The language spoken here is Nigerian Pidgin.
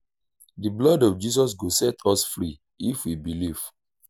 the blood of jesus go set us free if we believe